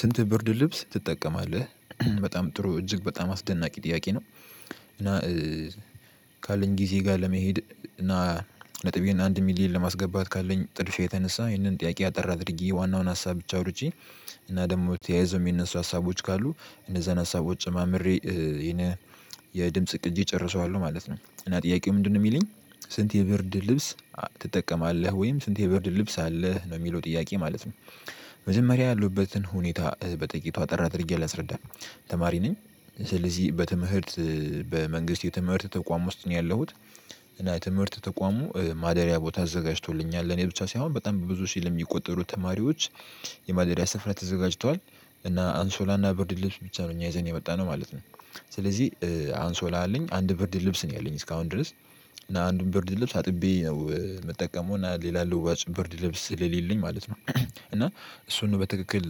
ስንት ብርድ ልብስ ትጠቀማለህ በጣም ጥሩ እጅግ በጣም አስደናቂ ጥያቄ ነው? እና ካለኝ ጊዜ ጋር ለመሄድ እና ነጥቤን አንድ ሚሊየን ለማስገባት ካለኝ ጥድፊያ የተነሳ ይህንን ጥያቄ አጠር አድርጌ ዋናውን ሀሳብ ብቻ አውርቼ። እና ደግሞ ተያይዘው የሚነሱ ሀሳቦች ካሉ እነዛን ሀሳቦች ጨማምሬ የድምጽ ቅጂ ጨርሰዋለሁ ማለት ነው። እና ጥያቄው ምንድነው የሚለኝ። ስንት የብርድ ልብስ ትጠቀማለህ ወይም ስንት የብርድ ልብስ አለህ ነው የሚለው ጥያቄ ማለት ነው። መጀመሪያ ያለሁበትን ሁኔታ በጥቂቱ አጠር አድርጌ ላስረዳ። ተማሪ ነኝ። ስለዚህ በትምህርት በመንግስት የትምህርት ተቋም ውስጥ ነው ያለሁት። እና ትምህርት ተቋሙ ማደሪያ ቦታ አዘጋጅቶልኛል ለእኔ ብቻ ሳይሆን በጣም በብዙ ሽህ ለሚቆጠሩ ተማሪዎች። የማደሪያ ስፍራ ተዘጋጅቷል። እና አንሶላ እና ብርድ ልብስ ብቻ ነው እኛ ይዘን የመጣነው ማለት ነው። ስለዚህ አንሶላ አለኝ አንድ ብርድ ልብስ ነው ያለኝ እስካሁን ድረስ። እና አንድን ብርድ ልብስ አጥቤ ነው የምጠቀመው እና ሌላ ልዋጭ ብርድ ልብስ ስለሌለኝ ማለት ነው። እና እሱን በትክክል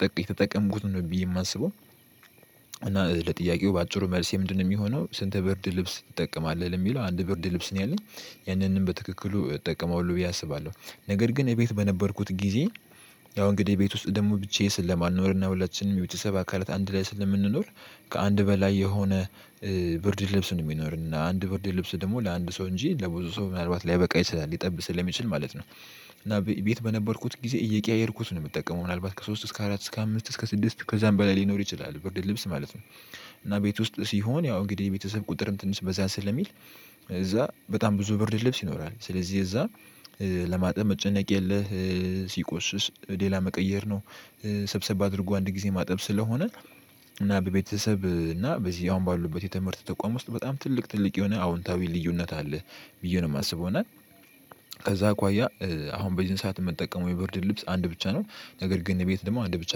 ጠቅ የተጠቀምኩት ነው ብዬ የማስበው። እና ለጥያቄው በአጭሩ መልሴ ምንድነው የሚሆነው? ስንት ብርድ ልብስ ትጠቀማለህ የሚለው አንድ ብርድ ልብስ ነው ያለኝ። ያንንም በትክክሉ እጠቀማለሁ ብዬ አስባለሁ። ነገር ግን የቤት በነበርኩት ጊዜ። ያው እንግዲህ ቤት ውስጥ ደግሞ ብቻዬን ስለማልኖር ሁላችንም የቤተሰብ አካላት አንድ ላይ ስለምንኖር። ከአንድ በላይ የሆነ ብርድ ልብስ ነው የሚኖረን አንድ ብርድ ልብስ ደግሞ ለአንድ ሰው እንጂ ለብዙ ሰው ምናልባት ላይበቃ ይችላል ሊጠብ ስለሚችል ማለት ነው። እና ቤት በነበርኩት ጊዜ እየቀያየርኩት ነው የምጠቀመው ምናልባት ከሶስት እስከ አራት እስከ አምስት እስከ ስድስት ከዛም በላይ ሊኖር ይችላል ብርድ ልብስ ማለት ነው። እና ቤት ውስጥ ሲሆን ያው እንግዲህ የቤተሰብ ቁጥርም ትንሽ በዛ ስለሚል። እዛ በጣም ብዙ ብርድ ልብስ ይኖራል ስለዚህ እዛ ለማጠብ መጨነቅ የለህ። ሲቆሽሽ ሌላ መቀየር ነው። ሰብሰብ አድርጎ አንድ ጊዜ ማጠብ ስለሆነ። እና በቤተሰብ እና በዚህ አሁን ባለሁበት የትምህርት ተቋም ውስጥ በጣም ትልቅ ትልቅ የሆነ አዎንታዊ ልዩነት አለ። ብዬ ነው የማስብ ይሆናል። ከዛ አኳያ አሁን በዚህን ሰዓት የምንጠቀመው የብርድ ልብስ አንድ ብቻ ነው። ነገር ግን ቤት ደግሞ አንድ ብቻ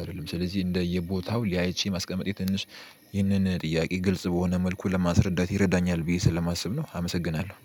አይደለም ስለዚህ እንደየቦታው ለያይቼ ማስቀመጤ ትንሽ ይህንን ጥያቄ ግልጽ በሆነ መልኩ ለማስረዳት ይረዳኛል ብዬ ስለማስብ ነው። አመሰግናለሁ